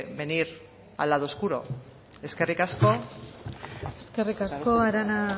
venir al lado oscuro eskerrik asko eskerrik asko arana